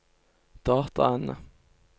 dataene